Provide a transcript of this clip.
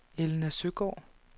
Elna Søgaard